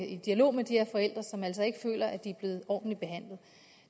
i dialog med de her forældre som altså ikke føler de er blevet ordentligt behandlet